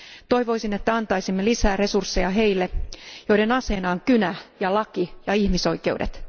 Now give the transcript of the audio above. Toivoisin, että antaisimme lisää resursseja heille, joiden aseena on kynä ja laki ja ihmisoikeudet.